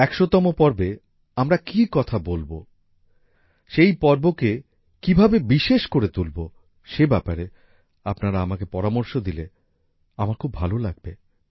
১০০ তম পর্বে আমরা কী কথা বলব সেই পর্বকে কীভাবে বিশেষ করে তুলব সে ব্যাপারে আপনারা আমাকে পরামর্শ দিলে আমার খুব ভালো লাগবে